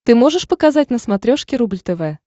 ты можешь показать на смотрешке рубль тв